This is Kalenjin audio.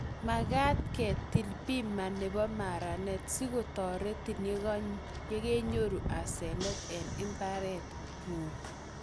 Makaat kiitil bima nebo maranet si kotoretin yekenyoru asenet eng imbaretng'ung